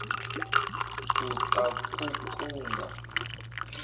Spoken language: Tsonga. u ta ku ku nga